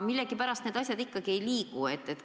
Millegipärast need asjad kuidagi ei liigu.